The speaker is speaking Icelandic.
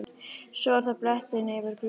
Svo er það bletturinn yfir glugganum.